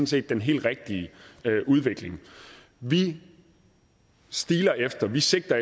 set den helt rigtige udvikling vi stiler efter vi sigter